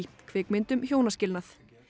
kvikmynd um hjónaskilnað